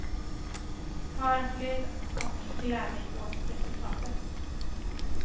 Hör och lyd och gläd dig åt resultatet.